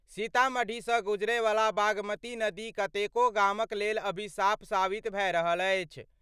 सीतामढ़ी सं गुजरय वला बागमती नदी कतेको गामक लेल अभिशाप साबित भए रहल अछि।